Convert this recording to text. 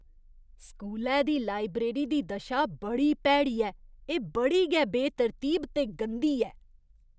स्कूलै दी लाइब्रेरी दी दशा बड़ी भैड़ी ऐ, एह् बड़ी गै बेतरतीब ते गंदी ऐ।